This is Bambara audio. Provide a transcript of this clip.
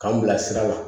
K'an bila sira la